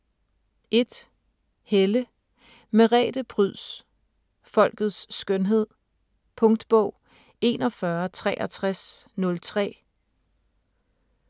1. Helle, Merete Pryds: Folkets skønhed Punktbog 416303